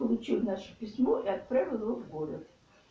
получил наше письмо и отправил его в город